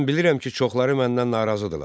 Mən bilirəm ki, çoxları məndən narazıdırlar.